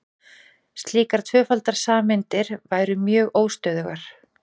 slíkar tvöfaldar sameindir væru mjög óstöðugar